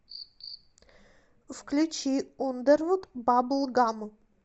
включи ундервуд бабл гам